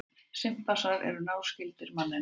Simpansar eru náskyldir manninum.